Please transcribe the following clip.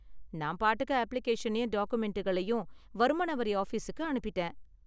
நான் பாட்டுக்கு அப்ளிகேஷனையும் டாக்குமெண்டுகளையும் வருமான வரி ஆபிஸுக்கு அனுப்பிட்டேன்.